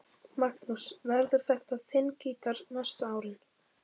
Magnús: Verður þetta þinn gítar næstu árin?